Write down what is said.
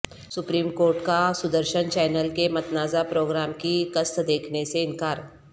supreme court کا Sudarshan channel کے متنازعہ پروگرام کی قسط دیکھنے سے انکار